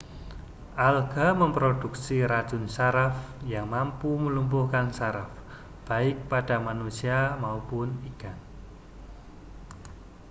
alga memproduksi racun saraf yang mampu melumpuhkan saraf baik pada manusia maupun ikan